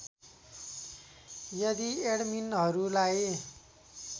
यदि एडमिनहरूलाई